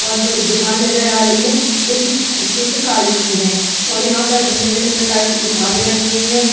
बोहोत बड़ी दुकान नजर आ रही है जो कि पुस्तकालय की है और यहाँ पर भिन्न-भिन्न प्रकार की किताबे रखी हुई हैं।